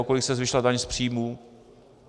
O kolik se zvýšila daň z příjmu?